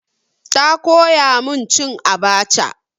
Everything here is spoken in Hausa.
Ta koya min cin abaca.